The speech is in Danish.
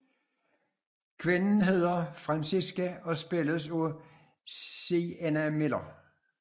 Kvinden hedder Francesca og spilles af Sienna Miller